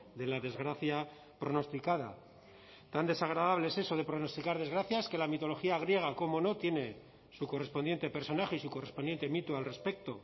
de la desgracia pronosticada tan desagradable es eso de pronosticar desgracias que la mitología griega cómo no tiene su correspondiente personaje y su correspondiente mito al respecto